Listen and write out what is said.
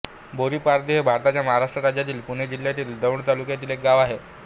बोरीपारधी हे भारताच्या महाराष्ट्र राज्यातील पुणे जिल्ह्यातील दौंड तालुक्यातील एक गाव आहे